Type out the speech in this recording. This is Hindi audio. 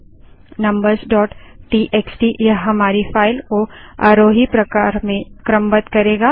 numbersटीएक्सटी यह हमारी फाइल को आरोही प्रकार में क्रमबद्ध करेगा